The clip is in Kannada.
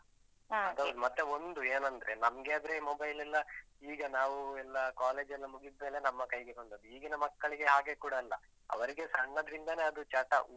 ಅದ್ ಹೌದು. ಮತ್ತೆ ಒಂದು ಏನಂದ್ರೆ ನಮ್ಗೆ ಆದ್ರೆ mobile ಎಲ್ಲ ಈಗ ನಾವು ಎಲ್ಲ college ಎಲ್ಲ ಮುಗಿದ್ಮೇಲೆ ನಮ್ಮ ಕೈಗೆ ಬಂದದ್ದು. ಈಗಿನ ಮಕ್ಕಳಿಗೆ ಹಾಗೆ ಕೂಡ ಅಲ್ಲ. ಅವರಿಗೆ ಸಣ್ಣದ್ರಿಂದಾನೇ ಅದು ಚಟ.